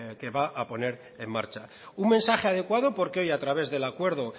que va a poner en marcha un mensaje adecuado porque hoy a través del acuerdo